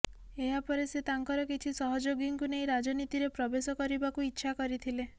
ଏହାପରେ ସେ ତାଙ୍କର କିଛି ସହଯୋଗୀଙ୍କୁ ନେଇ ରାଜନୀତିରେ ପ୍ରବେଶ କରିବାକୁ ଇଚ୍ଛା କରିଥିଲେ